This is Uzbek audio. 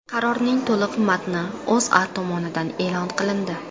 Qarorning to‘liq matni O‘zA tomonidan e’lon qilindi .